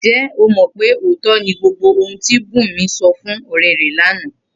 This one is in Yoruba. Ǹjé̩ o mò̩ pé òótó̩ ni gbogbo ohun tí Bùnmi so̩ fún ò̩ré̩ rè̩ lánàá?